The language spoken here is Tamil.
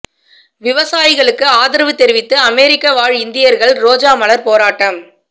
விவசாயிகளுக்கு ஆதரவு தெரிவித்து அமெரிக்க வாழ் இந்தியா்கள் ரோஜா மலா் போராட்டம்